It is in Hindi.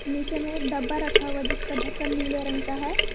नीचे में एक डब्बा रखा हुआ है जिसका ढ़क्कन नीले रंग का है।